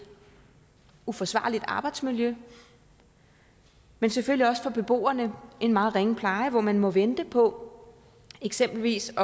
uforsvarligt arbejdsmiljø men selvfølgelig også for beboerne en meget ringe pleje hvor man må vente på eksempelvis